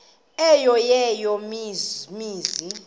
eyo eya mizi